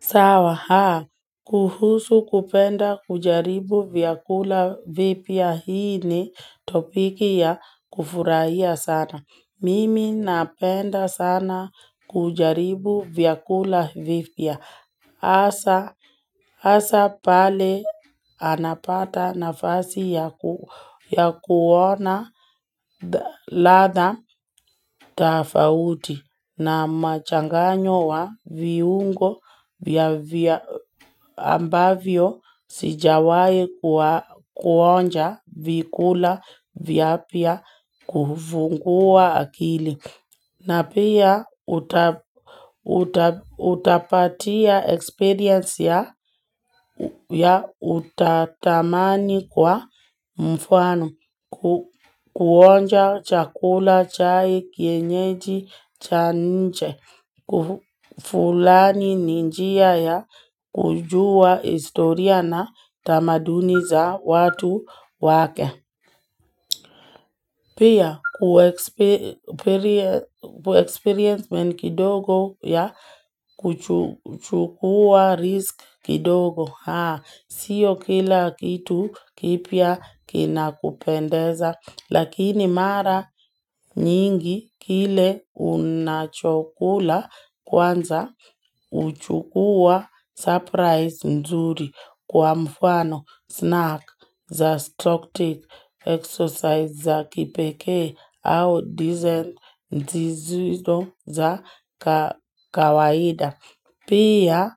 Sawa haa, kuhusu kupenda kujaribu vyakula vipia hii ni topiki ya kufurahia sana. Mimi napenda sana kujaribu vyakula vipia. Asa pale anapata nafasi ya kuona ladha tafauti na machanganyo wa viungo ambavyo sijawaye kuonja vikula vya pia kufungua akili. Na pia utapatia experience ya utatamani kwa mfwanu kuonja chakula, chai, kienyeji, chaninche, kufulani ninjia ya kujua historia na tamaduni za watu wake. Pia kuexperience meni kidogo ya kuchukua risk kidogo haa siyo kila kitu kipia kina kupendeza lakini mara nyingi kile unachokula kwanza uchukua surprise mzuri kwa mfano snack za stock take exercise za kipia. Pia